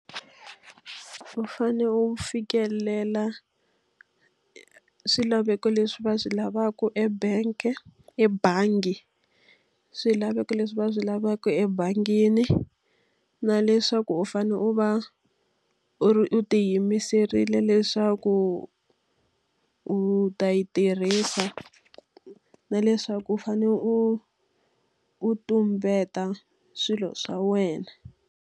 U fanele u fikelela swilaveko leswi va swi lavaka ebank-e ebangi. Swilaveko leswi va swi lavaka ebangini, na leswaku u fanele u va u u tiyimiserile leswaku u ta yi tirhisa na leswaku u fanele u u tumbeta swilo swa wena.